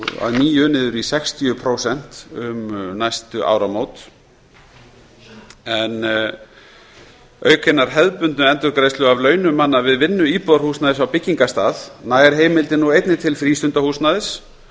að nýju niður í sextíu prósent um næstu áramót en auk hinnar hefðbundnu endurgreiðslu af launum manna við vinnu íbúðarhúsnæðis á byggingarstað nær heimildin nú einnig til frístundahúsnæðis